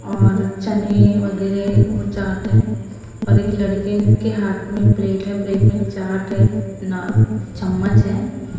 और चने वगैरह उ चाट है और एक लड़के के हाथ में प्लेट है प्लेट में चाट है ना चम्मच है।